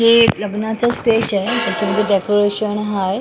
हे लग्नाचं स्टेज आहे त्याच्यावरती डेकोरेशन आहे.